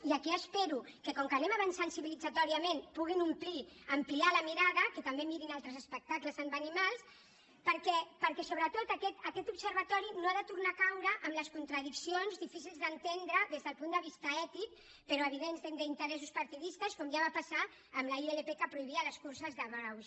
i aquí espero que com que anem avançant civilitzatòriament puguin ampliar la mirada que també mirin altres espectacles amb animals perquè sobretot aquest observatori no ha de tornar a caure en les contradiccions difícils d’entendre des del punt de vista ètic però evidents d’interessos partidistes com ja va passar amb la ilp que prohibia les curses de braus